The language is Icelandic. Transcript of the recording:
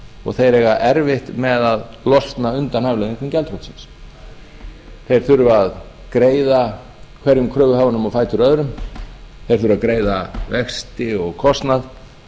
og þeir eiga erfitt með að losna undan afleiðingum gjaldþrotsins þeir þurfa að greiða hverjum kröfuhafanum á fætur öðrum þeir þurfa að greiða vexti og kostnað